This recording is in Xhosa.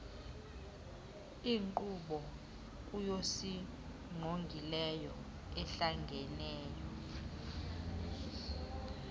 inkqubo yokusingqongileyo ehlangeneyo